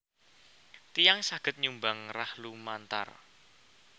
Tiyang saged nyumbang rah lumantar